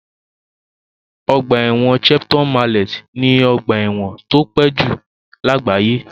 Ọgbà ẹ̀wọ̀n Shepton Mallet ni ọgbà ẹ̀wọ̀n tó pẹ́ jù lágbàáyé.